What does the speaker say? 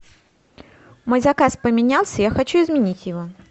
мой заказ поменялся я хочу изменить его